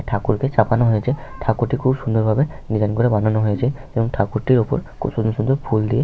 একটা ঠাকুরকে চাপানো হয়েছে । ঠাকুরটি খুব সুন্দর ভাবে ডিসাইন করে বানানো হয়েছে এবং ঠাকুরটির ওপর খুব সুন্দর সুন্দর ফুল দিয়ে --